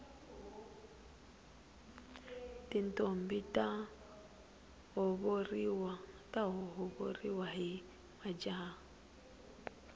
tintombhi ta lovoriwa hi majaha